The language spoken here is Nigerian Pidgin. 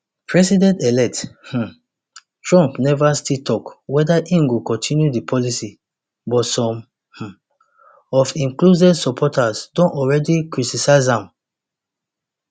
presidentelect um trump never still tok weda im go continue di policy but some um of im closest supporters don already criticise am